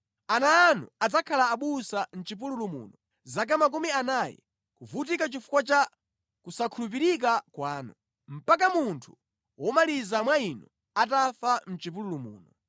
Ana anu adzakhala abusa mʼchipululu muno zaka makumi anayi, kuvutika chifukwa cha kusakhulupirika kwanu, mpaka munthu womaliza mwa inu atafa mʼchipululu muno.